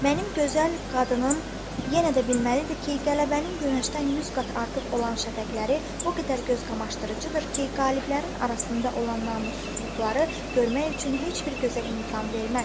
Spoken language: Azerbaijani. Mənim gözəl qadınım yenə də bilməlidir ki, qələbənin günəşdən 100 qat artıq olan şəfəqləri o qədər gözqamaşdırıcıdır ki, qaliblərin arasında olan namussuzluqları görmək üçün heç bir gözə imkan verməz.